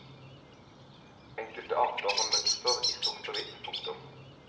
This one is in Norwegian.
Enkelte arter har mønster i sort og hvitt. punktum